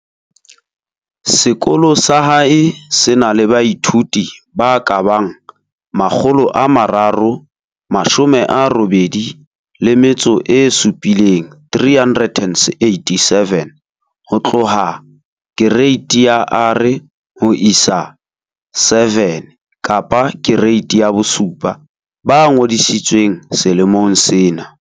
Sekolo sa hae se na le baithuti ba ka bang 387 ho tloha Kereiti ya R ho isa 7 ba ngodisitsweng selemong sena.